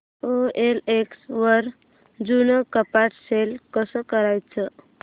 OLX वर जुनं कपाट सेल कसं करायचं